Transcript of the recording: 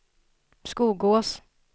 Skogås